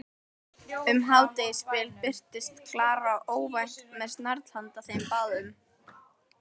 Um hádegisbil birtist Klara óvænt með snarl handa þeim báðum.